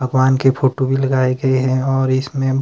भगवान के फोटो भी लगाये गये है और इसमें--